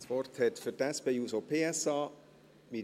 Das Wort hat Mirjam Veglio für die SP-JUSO-PSA.